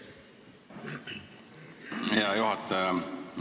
Hea juhataja!